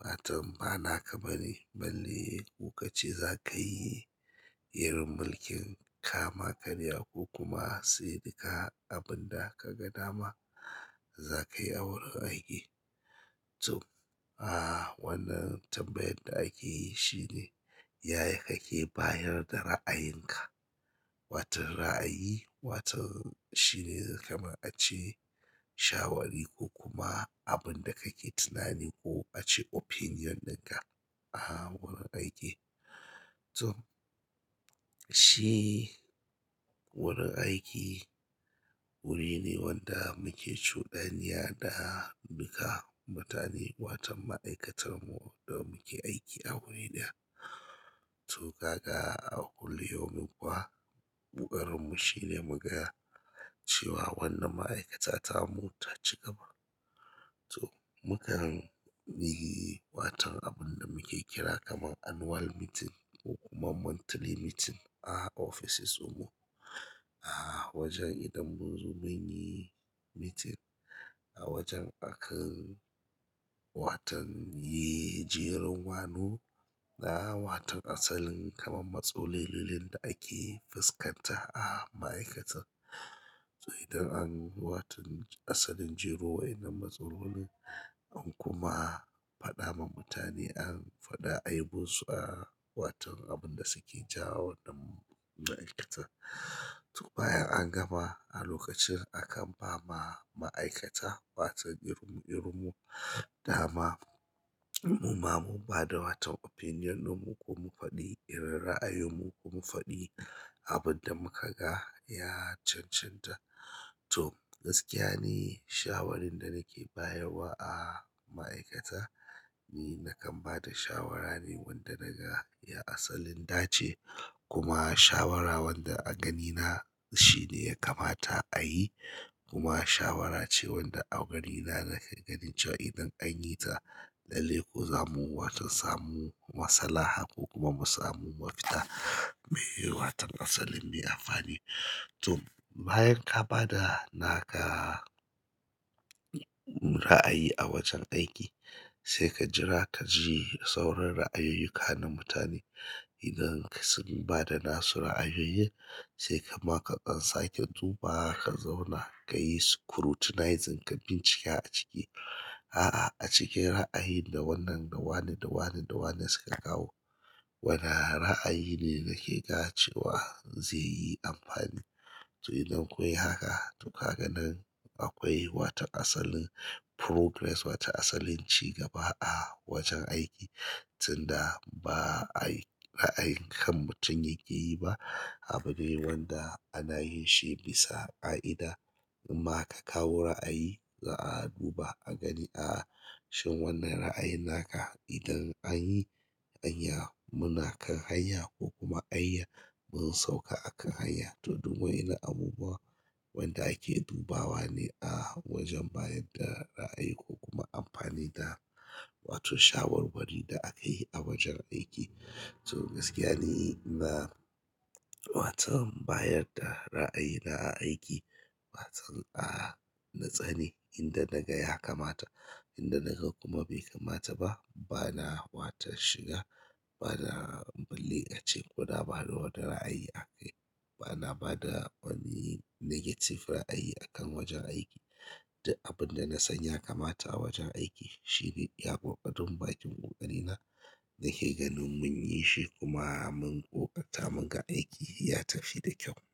ba watam bana ka bane. Balle koka ce za ka yi irin mulkin kama karya ko kuma sai dika abin da ka ga dama za ka yi a wurin aiki. To, a wannan tambayan da ake yi shine yaya kake bayar da ra'ayinka. Watan ra'ayi, watan shine kamar ace shawari ko kuma abin da kake tunani ko ace opinion ɗinka a wurin aiki. To, shi wurin aiki wuri ne wanda muke shuɗanya da duka mutane, watan ma'aikatar mu da muke aiki a wuri ɗaya. To, kaga a kullum yomin kuwa ƙoƙarinmu shine mu gaya cewa wannan ma'aikata tamu ta ci gaba. To, mukan yi watan abun da muke kira kamar annual meeting ko kuma monthly meeting a ofisoshinmu. A wajen idan mun zo mun yi meeting a wajen akan watan yi jerin gwano na watan asalin kamar matsalolin da ake fuskanta a ma'aikatar. To, idan an yi watan asalin jiro wai na matsalolin an kuma faɗa ma mutane an faɗa aibunsu a watan abin da suke jawo wannan ma'aikatar. To, bayan an gama a lokacin akan ba ma ma'aikata watan irinmu irin mu dama mu ma mun ba da watan opinion mu ko mu faɗi irin ra'ayunmu ko mu faɗi abin da muka ga ya cancanta. To, gaskiya ni shawarin da nake bayarwa a ma'aikata ni na kan ba da shawara ne wanda naga ya asalin dace. Kuma shawara wanda a ganina shine ya kamata a yi, kuma shawara ce wanda a ganina na nake ganin cewa idan an yi ta lalle ko zamu watan samu maslaha ko kuma mu samu mafita me watan asalin mai amfani. To, bayan ka ba da naka ra'ayi a wajen aiki sai ka jira ka ji sauran ra'ayoyuka na mutane. Idan sun ba da nasu ra'ayoyin sai kaima ka ɗan sake zuɓa ka zauna ka yi scrutinizing ka bincike a cike. A'a, a cikin ra'ayi da wannan da wane da wane da wane suka kawo. Wane ra'ayi ne nake ga cewa zai yi amfani. To, idan kunyi haka to kaga nan akwai wata asalin progress, wata asalin cigaba a wajen aiki. Tunda ba a yi ra'ayi kan mutum yake yi ba, abune wanda ana yin shi bisa ƙa'ida. Imma ka kawo ra'ayi za'a duba a gani a shin wannan ra'ayi naka idan an yi, anya munakan hanya ko kuma anya mun sauka akan hanya. To, duk waɗannan abubuwa waɗanda ake dubawa ne a wajen bayar da ra'ayi ko kuma amfani da wato shawarwari da aka yi a wajen aiki. To, gaskiya ni ina watan bayar da ra'ayina a aiki. Watan a na tsani idan naga ya kamata, indanaga kuma bai kamata ba, bana watan shiga, bana balle ace koda, bana bada ra'ayi aka yi, bana bada wani negative ra'ayi akan wajen aiki. Duk abin da na san ya kamata a wajen aiki shine iya ƙoƙari mun baki ƙoƙari na nake ganin mun yi shi kuma mun ƙoƙarta mun ga aiki ya tafi da kyau.